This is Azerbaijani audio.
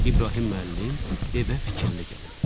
İbrahim müəllim evə fikirli gəlib.